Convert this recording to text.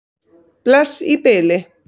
Bless í bili.